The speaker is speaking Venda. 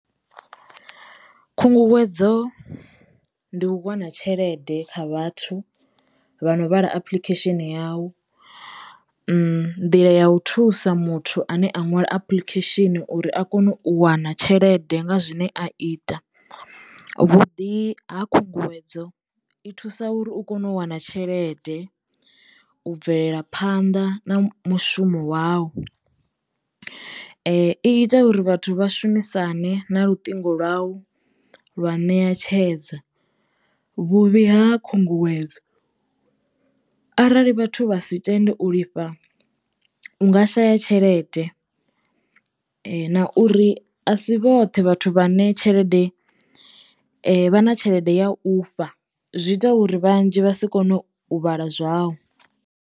Khunguwedzo ndi u wana tshelede kha vhathu vhano vhala apuḽikhesheni ya u nḓila ya u thusa muthu ane a ṅwala apuḽikhesheni uri a kono u wana tshelede nga zwine a ita vhuḓi ha khunguwedzo i thusa uri u kono u wana tshelede, u bvelela phanḓa na mushumo wau i ita uri vhathu vha shumisane na luṱingo lwau lwa ṋeatshedza. Vhuvhi ha khunguwedzo arali vhathu vha si tende u lifha u nga shaya tshelede na uri asi vhoṱhe vhathu vhane tshelede vha na tshelede ya u fha zwi ita uri vhanzhi vha si kone u vhala zwau.